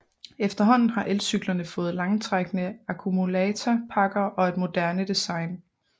Efterhånden har elcyklerne fået langtrækkende akkumulatorpakker og et moderne design